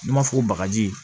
N'i m'a fɔ bagaji ye